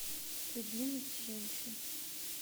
любимец женщин